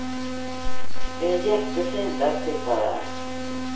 Det är jättefint att sitta där.